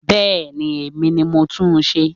Bẹ́ẹ̀ni, èmi ni mo tún n ṣe